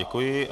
Děkuji.